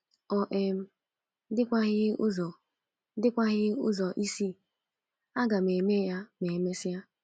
Ọ um dịkwaghị ụzọ dịkwaghị ụzọ ịsị, ‘ Aga m eme ya ma e mesịa. '